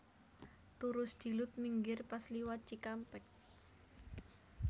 Turu sedilut minggir pas liwat Cikampek